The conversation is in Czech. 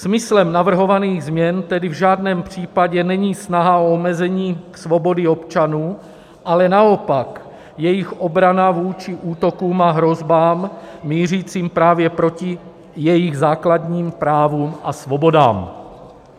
Smyslem navrhovaných změn tedy v žádném případě není snaha o omezení svobody občanů, ale naopak jejich obrana vůči útokům a hrozbám mířícím právě proti jejich základním právům a svobodám.